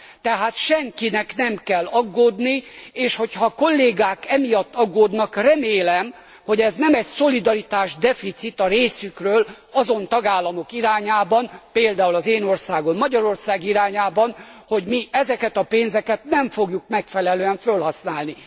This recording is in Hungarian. Tehát, senkinek nem kell aggódni, és hogyha a kollégák emiatt aggódnak, remélem, hogy ez nem egy szolidaritásdeficit a részükről azon tagállamok irányában például az én országom Magyarország irányában hogy mi ezeket a pénzeket nem fogjuk megfelelően fölhasználni.